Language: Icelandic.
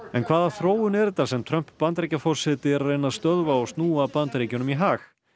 en hvaða þróun er þetta sem Trump Bandaríkjaforseti er að reyna að stöðva og snúa Bandaríkjunum í hag